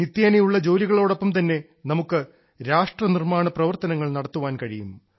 നിത്യേനയുള്ള ജോലികളോടൊപ്പം തന്നെ നമുക്ക് രാഷ്ട്രനിർമാണ പ്രവർത്തനങ്ങൾ നടത്താൻ കഴിയും